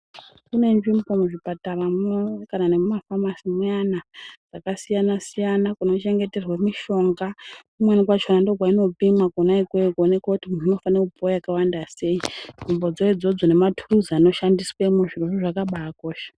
Kune nzvimbo muzvipataramwo kana nemumafamasi muyana kwakasiyana -siyana kunochengeterwe mishonga. Kumweni kwachona ndikwo kwainopimwa kwona ikweyo kuoneke kuti munhu unofanira kupuwa wakawanda sei. Nzvimbodzo idzodzo nemathuluzi anoshandiswemwo zvirozvo zvakabaakosha.